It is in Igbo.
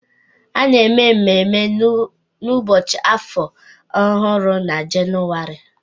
A na-eme mmemme Ụbọchị Afọ Ọhụrụ na Jenụwarị